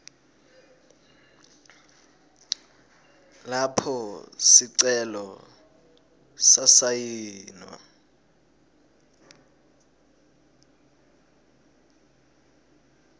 lapho sicelo sasayinwa